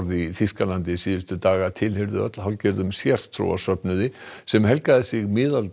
í Þýskalandi síðustu daga tilheyrðu öll hálfgerðum sértrúarsöfnuði sem helgaði sig